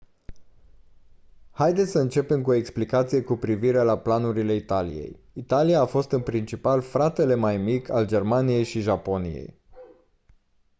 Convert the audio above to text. haideți să începem cu o explicație cu privire la planurile italiei. italia a fost în principal «fratele mai mic» al germaniei și japoniei